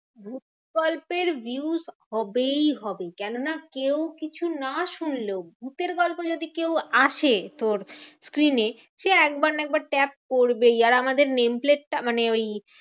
ভুত গল্পের views হবেই হবে। কেননা কেউ কিছু না শুনলেও ভুতের গল্পে যদি কেউ আসে তোর screen এ। সে একবার না একবার tap করবেই। আর আমাদের name plate টা মানে ওই